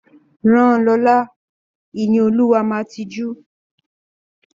Rán Lọla! Ìníolúwa máa tijú.